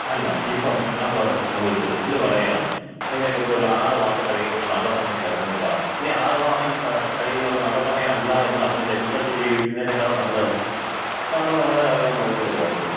അല്ല ഇപ്പം നമ്മൾ ഒരിടത്ത് പോയിട്ട് പുള്ളി പറയാണ്, നിങ്ങൾക്ക് ഒരു ആറുമാസം കഴിയുമ്പോ ഒരു നല്ല സമയം വരും എന്ന് പറഞ്ഞിട്ട്, ഈ ആറുമാസം കഴിയുന്നത് വര നല്ല സമയമല്ല എന്നറിഞ്ഞ് ടെൻഷനടിച്ച് ജീവിക്കുന്നതിനേക്കാള് നല്ലതല്ലേ നമ്മള് നമ്മടെ കാര്യങ്ങള് നോക്കിക്കൊണ്ട് പോകുന്നത്.